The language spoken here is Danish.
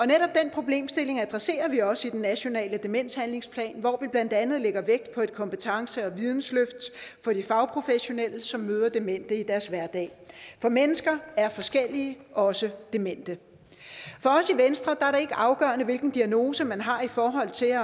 netop den problemstilling adresserer vi også i den nationale demenshandlingsplan hvor vi blandt andet lægger vægt på et kompetence og vidensløft for de fagprofessionelle som møder demente i deres hverdag for mennesker er forskellige også demente for os i venstre er det ikke afgørende hvilken diagnose man har i forhold til